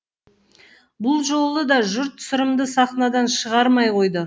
бұл жолы да жұрт сырымды сахнадан шығармай қойды